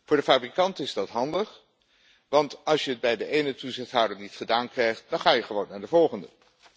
Voor de fabrikant is dat handig, want als je het bij de ene toezichthouder niet gedaan krijgt dan ga je gewoon naar de volgende.